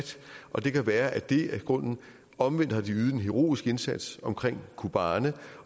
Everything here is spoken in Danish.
og det kan jo være at det er grunden omvendt har de ydet en heroisk indsats omkring kobane